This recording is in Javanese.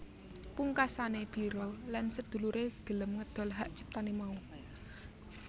Pungkasane Biro lan sedulure gelem ngedol hak ciptane mau